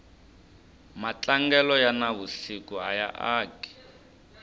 matlangelo ya na vusiku aya aki